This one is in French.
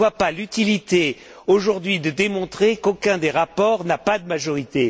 Je ne vois pas l'utilité aujourd'hui de démontrer qu'aucun des rapports n'a de majorité.